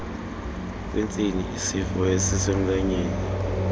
kwentsini isifo esisemlonyeni